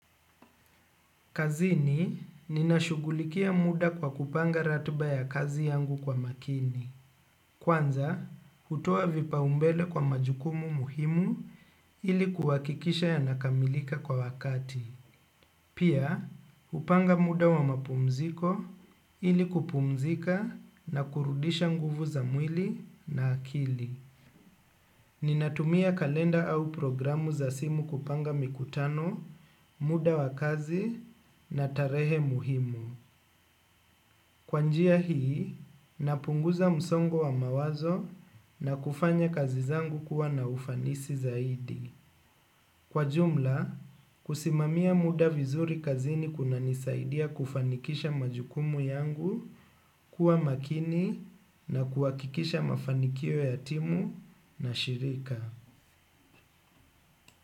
Kazini, ninashughulikia muda kwa kupanga ratiba ya kazi yangu kwa umakini. Kwanza, hutoa vipaumbele kwa majukumu muhimu ili kuhakikisha yanakamilika kwa wakati. Pia, hupanga muda wa mapumziko ili kupumzika na kurudisha nguvu za mwili na akili. Ninatumia kalenda au programu za simu kupanga mikutano, muda wa kazi na tarehe muhimu. Kwa njia hii, napunguza msongo wa mawazo na kufanya kazi zangu kuwa na ufanisi zaidi. Kwa jumla, kusimamia muda vizuri kazini kunanisaidia kufanikisha majukumu yangu kuwa makini na kuhakikisha mafanikio ya timu na shirika.